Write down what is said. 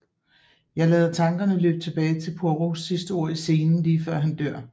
Jeg lader tankerne løbe tilbage til Poirots sidste ord i scenen lige før han dør